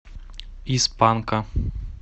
из панка